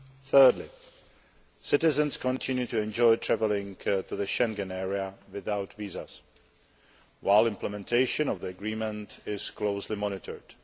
Thirdly, citizens continue to enjoy travelling to the Schengen area without visas, while implementation of the agreement is closely monitored.